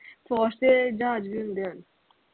force ਦੇ ਜਹਾਜ ਵੀ ਹੁੰਦੇ ਹਨ